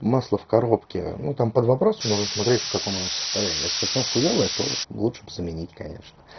масло в коробке ну там под вопросом нужно смотреть в каком оно состоянии если совсем хуёвое то лучше б заменить конечно